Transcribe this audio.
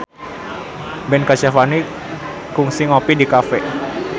Ben Kasyafani kungsi ngopi di cafe